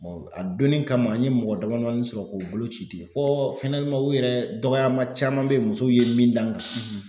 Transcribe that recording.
a donnin kama n ye mɔgɔ damadamanin sɔrɔ k'o bolo ci ten fɔ u yɛrɛ dɔgɔyama caman bɛ ye musow ye min da n kan.